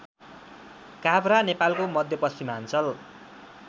काभ्रा नेपालको मध्यपश्चिमाञ्चल